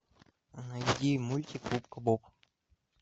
найди мультик губка боб